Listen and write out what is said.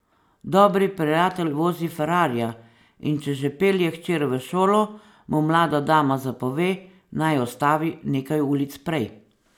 Dobri prijatelj vozi ferrarija, in če že pelje hčer v šolo, mu mlada dama zapove, naj ustavi nekaj ulic prej.